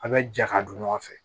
A' bɛ jɛ ka don ɲɔgɔn fɛ